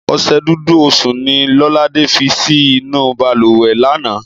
Ọṣẹ Dúdú Osùn ni Lọ́ládé fi sí inú bàlùwẹ̀ lánàá